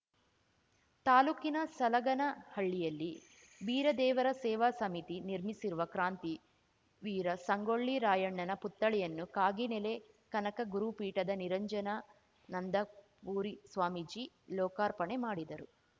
ತಾಲೂಕಿನ ಸಲಗನಹಳ್ಳಿಯಲ್ಲಿ ಬೀರದೇವರ ಸೇವಾ ಸಮಿತಿ ನಿರ್ಮಿಸಿರುವ ಕ್ರಾಂತಿ ವೀರ ಸಂಗೊಳ್ಳಿ ರಾಯಣ್ಣನ ಪುತ್ಥಳಿಯನ್ನು ಕಾಗಿನೆಲೆ ಕನಕ ಗುರುಪೀಠದ ನಿರಂಜನಾನಂದಪುರಿ ಸ್ವಾಮೀಜಿ ಲೋಕಾರ್ಪಣೆ ಮಾಡಿದರು